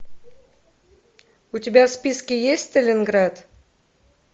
у тебя в списке есть сталинград